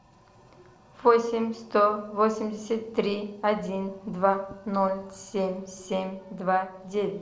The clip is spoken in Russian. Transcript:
восемь сто восемьдесят три один два ноль семь семь два девять